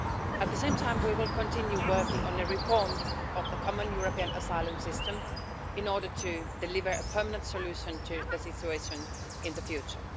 At the same time, we will continue working on reform of the Common European Asylum System, in order to deliver a permanent solution to the situation in the future.